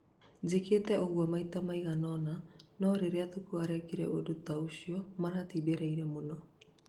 njĩkĩte ũgũo maita maigana ona no rĩrĩa Thuku arekire ũndũ ta ũcio maratindĩrĩire mũno